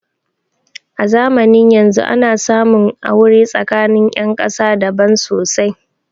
A zamanin yanzun ana samun aure tsakanin ƴan ƙasa daban sosai